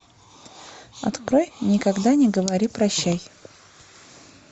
открой никогда не говори прощай